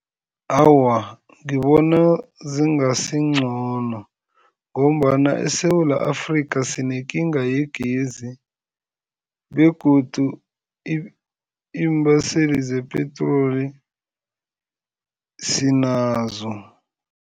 Awa, ngibona zingasingcono ngombana eSewula Afrika sinekinga yegezi begodu iimbaseli zepetroli sinazo.